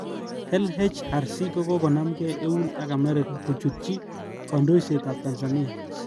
LHRC kokonamge eun ak America kochutchi kondoset ab Tanzania